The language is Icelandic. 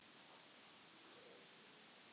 Ég hélt að hún héti María.